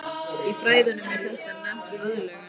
Í fræðunum er þetta nefnt aðlögun.